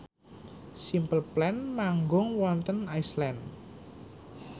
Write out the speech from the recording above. Simple Plan manggung wonten Iceland